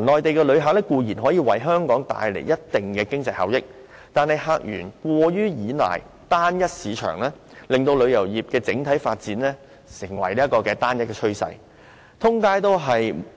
內地旅客固然可以為香港帶來一定的經濟效益，但客源過於依賴單一市場，令旅遊業的整體發展形成單一趨勢，滿街都是